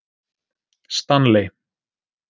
Stanley